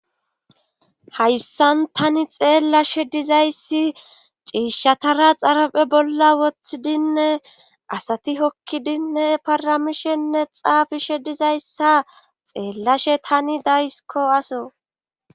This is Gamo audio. Hayssan tani xeellashe dizayssi ciishatara xaraphe bolla woththidinne asati hokkidinne paramishenne xaafishe dizayssa xeellashe tani daysiko aso.